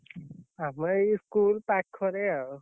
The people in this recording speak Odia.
ଆମ ଏଇ school ~ପା ~ଖରେ ଆଉ।